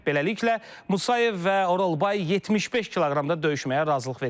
Beləliklə, Musayev və Oralbay 75 kq-da döyüşməyə razılıq veriblər.